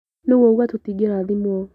Nũ wauga tũtingĩrathimwo?